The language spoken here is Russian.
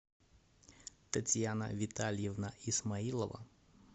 татьяна витальевна исмаилова